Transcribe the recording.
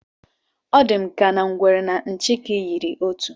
Ọ dị m ka na ngwere na nchịkị yiri otu